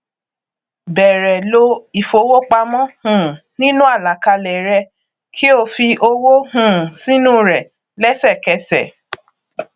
bẹrẹ ló àpò ìfowópamọ um nínú àlàkalẹ rẹ kí o fi owó um sínú rẹ lẹṣẹkẹṣẹ